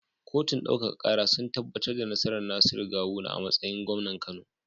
Kotun ɗaukaka kara sun tabbatar da nasarar Nasiru gawuna a matsayin gwamnan kano